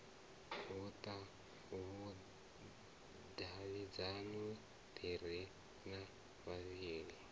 vhudavhidzano ḓi re na vhavhali